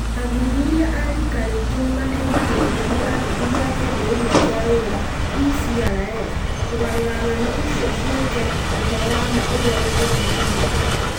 Athuthuria a riika rĩngĩ nĩ mateithagĩrĩrio nĩ athuthuria a kĩambĩrĩria kĩa wĩra (ECRs) kũgarũra ng'ano icio ciĩke ũhoro wa ma ũrĩa ũngĩthuthurio.